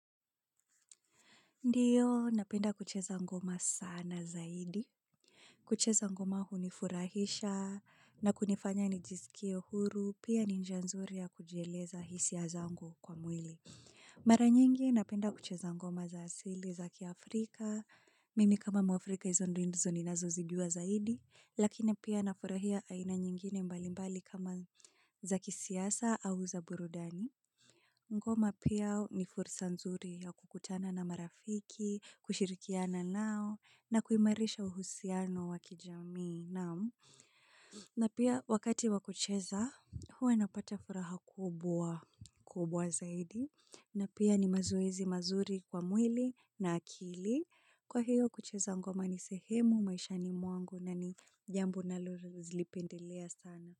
Ndiyo, napenda kucheza ngoma sana zaidi. Kucheza ngoma hu ni furahisha na kunifanya ni jisikie huru, pia ni njianzuri ya kujieleza hisia zangu kwa mwili. Maranyingi, napenda kucheza ngoma za asili zaki Afrika. Mimi kama mwafrika hizondindizo ni nazo zijua zaidi. Lakini pia na furahia aina nyingine mbalimbali kama zaki siasa au za burudani. Ngoma pia ni fursa nzuri ya kukutana na marafiki, kushirikiana nao na kuimarisha uhusiano wakijamii nao. Na pia wakati wakucheza, huwa napata furaha kubwa kubwa zaidi. Na pia ni mazoezi mazuri kwa mwili na akili. Kwa hiyo kucheza ngoma ni sehemu, maisha ni mwangu na ni jambo na lolipendelea sana.